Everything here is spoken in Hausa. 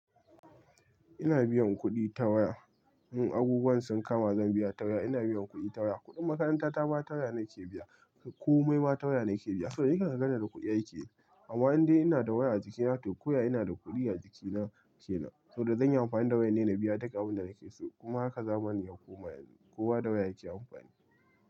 Ina biyan kuɗi ta waya. Un abubuwan sun kama zan biya ta waya. Ina biyan kuɗi ta waya. Kuɗin makaranta ta ma ta waya nake biya. Komai ma ta waya nake biya. Saboda ni kan ka ganni da kuɗi aiki ne. Amma indai ina da waya a jikina to kawai ina da kuɗi a jikina kenan saboda zan yi amfani da wayan ne na biya duk abun da nake so. Kuma haka zamanin ya koma yanzu kowa da waya yake amfani.